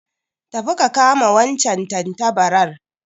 Tafi ka kama wancan tantabarar